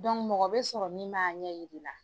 mɔgɔ bɛ sɔrɔ min b'a ɲɛ yir'i la